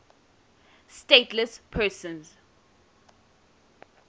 stateless persons